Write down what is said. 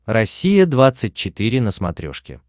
россия двадцать четыре на смотрешке